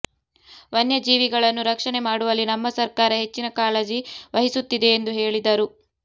ವನ್ಯ ಜೀವಿಗಳನ್ನು ರಕ್ಷಣೆ ಮಾಡುವಲ್ಲಿ ನಮ್ಮ ಸರ್ಕಾರ ಹೆಚ್ಚಿನ ಕಾಳಜಿ ವಹಿಸುತ್ತಿದೆ ಎಂದು ಹೇಳಿದರು